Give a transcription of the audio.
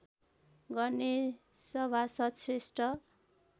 गर्ने सभासद श्रेष्ठ